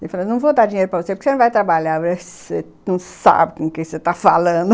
Ele falou, não vou dar dinheiro para você porque você não vai trabalhar, você não sabe com quem você está falando.